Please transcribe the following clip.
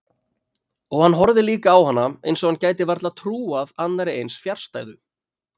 Og hann horfði líka á hana eins og hann gæti varla trúað annarri eins fjarstæðu.